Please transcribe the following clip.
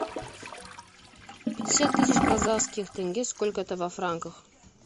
пятьдесят тысяч казахских тенге сколько это во франках